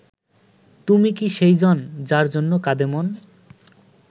তুমি কি সেই জন যার জন্য কাঁদে মন